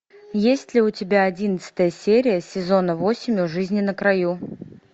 есть ли у тебя одиннадцатая серия сезона восемь у жизни на краю